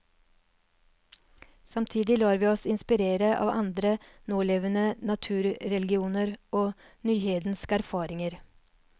Samtidig lar vi oss inspirere av andre nålevende naturreligioner og nyhedenske erfaringer.